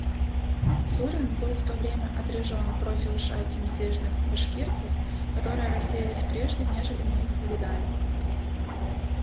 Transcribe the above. зурин был в то время отряжён противу шайки мятежных башкирцев которые рассеялись прежде нежели мы их увидали